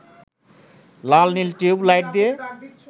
লাল-নীল tube light দিয়ে